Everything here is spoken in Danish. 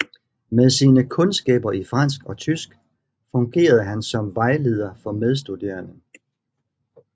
Med sine kundskaber i fransk og tysk fungerede han som vejleder for medstuderende